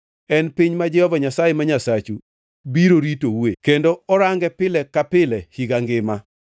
En piny ma Jehova Nyasaye ma Nyasachu biro ritoue; kendo orange pile ka pile higa ngima.